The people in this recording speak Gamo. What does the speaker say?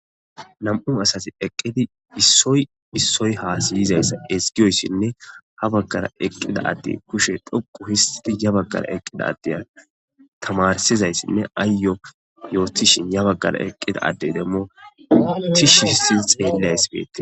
Nam7u asati eqqidi issoy issoy haasiyizayssa esgiyoyssinne ha baggara eqqida adde kushe dhoqu histi ya baggara eqqida addeya tamarsizayssinne aayyo yootishin ya baggara eqqida addey demmo tishissi xeelleays beete.